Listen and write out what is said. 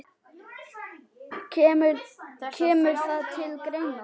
Kemur það til greina?